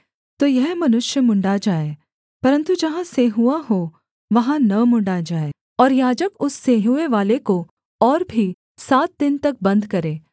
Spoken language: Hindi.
तो यह मनुष्य मुँण्ड़ा जाए परन्तु जहाँ सेंहुआ हो वहाँ न मुँण्ड़ा जाए और याजक उस सेंहुएँ वाले को और भी सात दिन तक बन्द करे